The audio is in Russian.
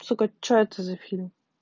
сука что это за фильм